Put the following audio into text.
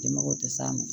Den mago tɛ s'a ma